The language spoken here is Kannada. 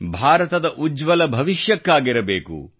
ಭಾರತದ ಉಜ್ವಲ ಭವಿಷ್ಯಕ್ಕಾಗಿರಬೇಕು